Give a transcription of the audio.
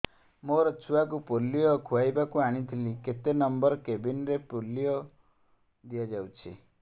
ମୋର ଛୁଆକୁ ପୋଲିଓ ଖୁଆଇବାକୁ ଆଣିଥିଲି କେତେ ନମ୍ବର କେବିନ ରେ ପୋଲିଓ ଦିଆଯାଉଛି